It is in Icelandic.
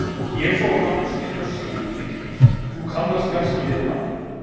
Ég fór á námskeið hjá Sigurði Geir, þú kannast kannski við hann?